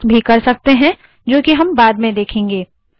हर एक में कई सारे अलग options हैं